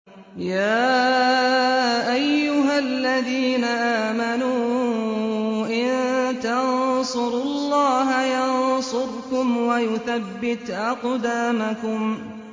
يَا أَيُّهَا الَّذِينَ آمَنُوا إِن تَنصُرُوا اللَّهَ يَنصُرْكُمْ وَيُثَبِّتْ أَقْدَامَكُمْ